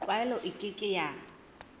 tlwaelo e ke ke ya